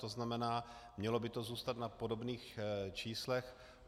To znamená, mělo by to zůstat na podobných číslech.